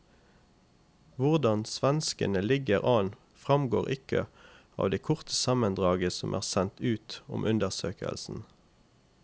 Hvordan svenskene ligger an fremgår ikke av det korte sammendraget som er sendt ut om undersøkelsen.